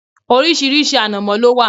Orísìírísìí ànàmọ́ ló wà.